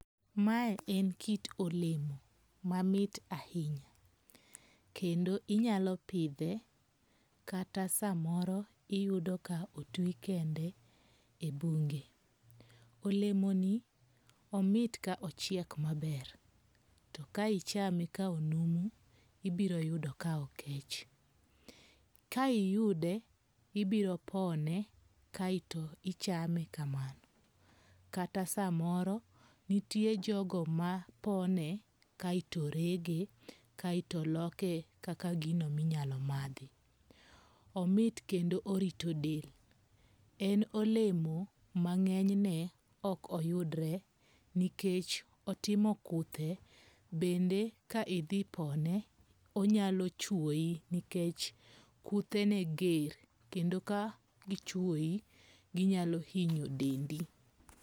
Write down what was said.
Mae en kit olemo mamit ahinya. Kendo inyalo pidhe kata samoro iyudo ka otwi kende e bunge. Olemo ni omit ka ochiek maber. To ka ichame ka onumu ibiro yudo ka okech. Ka iyude, ibiro pone kaeto ichame kamano. Kata samoro, nitie jogo mapone kaeto rege kaeto loke kaka gino minyalo madhi. Omit kendo orito del. En olemo ma ng'enyne ok oyudre nikech otimo kuthe. Bende ka idhi pone onyalo chuoi nikech kuthene ger kendo ka gichuoi ginyalo hinyo dendi.